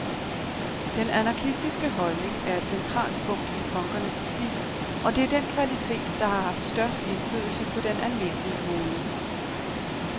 Den anarkistiske holdning er et centralt punkt i punkernes stil, og det er den kvalitet, der har haft størst indflydelse på den almindelige mode.